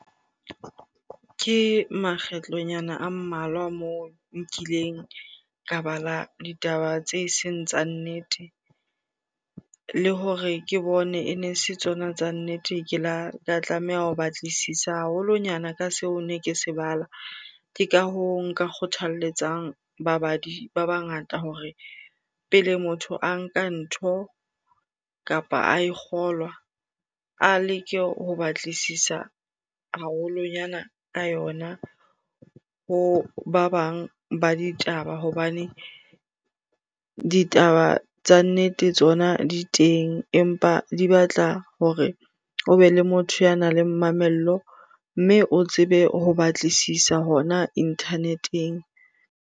Ke makgetlonyana a mmalwa moo nkileng ka bala ditaba tse seng tsa nnete. Le hore ke bone ene se tsona tsa nnete, ke la ka tlameha ho batlisisa haholonyana ka seo ne ke se bala. Ke ka hoo nka kgothalletsang babadi ba bangata hore pele motho a nka ntho kapa a e kgolwa, a leke ho batlisisa haholonyana ka yona ho ba bang ba ditaba. Hobane ditaba tsa nnete tsona di teng, empa di batla hore o be le motho ya nang le mamello mme o tsebe ho batlisisa hona internet-eng.